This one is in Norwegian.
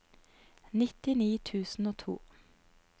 nittini tusen og to